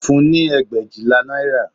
Ó fún-un ní ẹgbẹ̀éjìlá náírà